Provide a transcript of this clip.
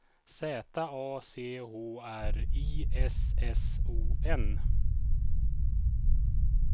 Z A C H R I S S O N